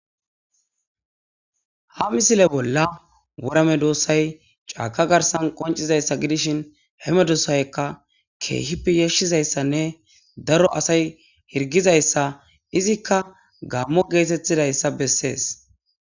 Ha misile bolla worra medossayi cakka garissan qonicidayissa gidishini he medossayikka kehippe yashidayissane darro assayi hirigizayissa izika gammo getetidayisa bessesi